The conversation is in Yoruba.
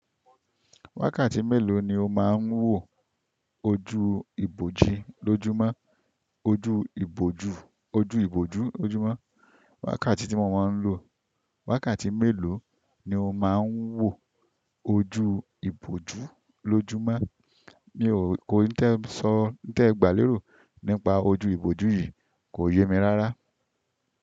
Wákàtí mélòó ni o máa ń wò ojú ìbòji lójúmọ́? Ojú iboju ojú ìbòjú ojúmọ́. Wákàtí tí mo máa ń lò. Wákàtí mélòó ni o máa ń wò ojú ìbòjú lójúmọ́? Mi ò kò í tẹ sọ, n tẹ gbà lérò nípa ojú ìbòjú yìí kò yé mi rárá.